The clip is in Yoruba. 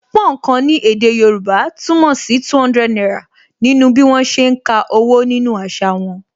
Púnǹkan ni èdè Yorùbá túmọ̀ sí 200 náírà nínú bí wọn ṣe ń ka owó nínú àṣà wọn